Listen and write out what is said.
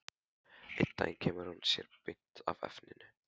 Einn daginn kemur hún sér beint að efninu.